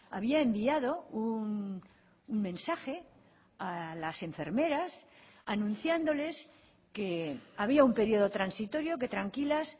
había enviado un mensaje a las enfermeras anunciándoles que había un periodo transitorio que tranquilas